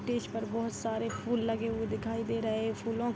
stage पर बहोत सारे फूल लगे हुए दिखाई दे रहे फूलो --